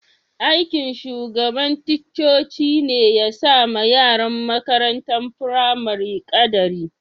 Aiki'n shugaban ticcocin ne ya sa ma yaran makarantan firamarin kadari.